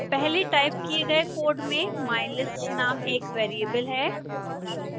पहले टाइप किए गए कोड में mylist नाम एक वेरिएबल है